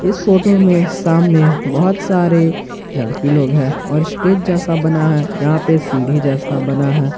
इस फोटो में सामने बहुत सारे लड़की लोग हैं और स्टेज जैसा बना है यहां पे सीढ़ी जैसा बना है।